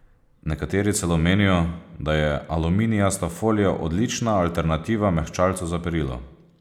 Nekateri celo menijo, da je aluminijasta folija odlična alternativa mehčalcu za perilo.